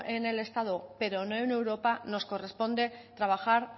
en el estado pero no en europa nos corresponde trabajar